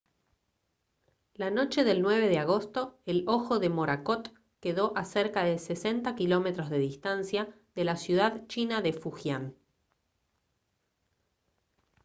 la noche del 9 de agosto el ojo de morakot quedó a cerca de 60 km de distancia de la ciudad china de fujian